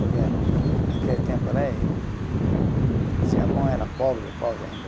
Porque naquele tempo lá êh, Japão era pobre, pobre ainda.